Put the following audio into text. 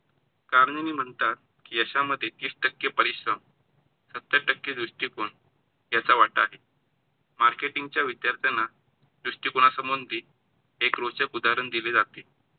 चारणीनी म्हणतात की यशामध्ये तीस टक्के परिश्रम, सत्तर टक्के दृष्टीकोन याचा वाटा आहे. Marketing च्या विद्यार्थाना दृष्टीकोणसामंती एक रोचक उदहारण दिले जाते.